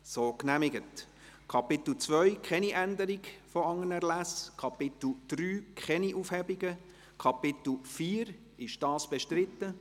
Wer diesen Artikel mit den neuen Unterartikeln so aufnehmen will, stimmt Ja, wer dies nicht will, stimmt Nein.